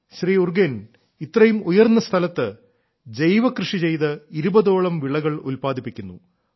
ശ്രീ ഉർഗേൻ ഇത്രയും ഉയർന്ന സ്ഥലത്ത് ജൈവ കൃഷിചെയ്ത് ഇരുപതോളം വിളകൾ ഉല്പാദിപ്പിക്കുന്നു